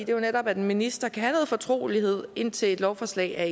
jo netop at en minister kan have noget fortrolighed indtil et lovforslag er